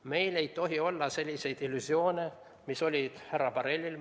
Meil ei tohi olla selliseid illusioone, mis olid härra Borrellil.